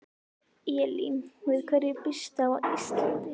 Elín: Við hverju býstu á Íslandi?